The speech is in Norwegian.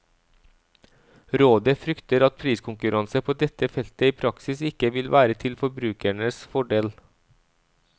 Rådet frykter at priskonkurranse på dette feltet i praksis ikke vil være til forbrukernes fordel.